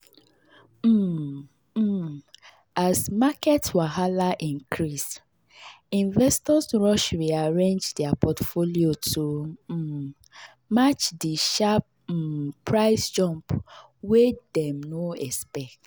um um as market wahala increase investors rush rearrange their portfolio to um match the sharp um price jump wey dem no expect.